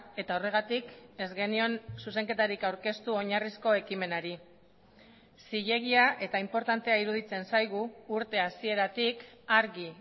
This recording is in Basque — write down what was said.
eta horregatik ez genion zuzenketarik aurkeztu oinarrizko ekimenari zilegia eta inportantea iruditzen zaigu urte hasieratik argi